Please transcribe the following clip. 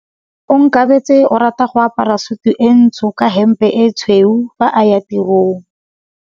Onkabetse o rata go apara sutu e ntsho ka hempe e tshweu fa a ya tirong.